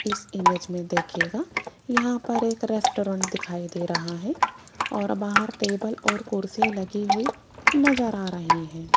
इस इमेज में देखिएगा यहां पर एक रेस्टोरेंट दिखाई दे रहा है और बाहर टेबल और कुर्सी लगी हुई नजर आ रही है।